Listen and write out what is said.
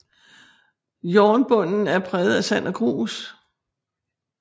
Jornbunden er præget af sand og grus